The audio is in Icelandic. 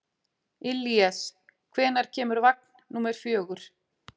Illíes, hvenær kemur vagn númer fjögur?